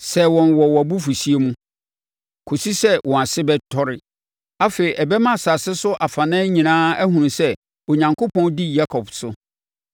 sɛe wɔn wɔ abufuhyeɛ mu, kɔsi sɛ wɔn ase bɛtɔre. Afei ɛbɛma asase so afanan nyinaa ahunu sɛ Onyankopɔn di Yakob so.